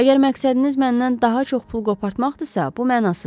Əgər məqsədiniz məndən daha çox pul qopartmaqdırsa, bu mənasızdır.